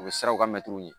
U bɛ siraw ka mɛtiriw ye